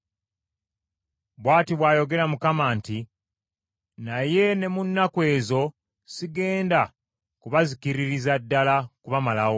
Bw’ati bw’ayogera Mukama nti, “Naye ne mu nnaku ezo sigenda kubazikiririza ddala kubamalawo.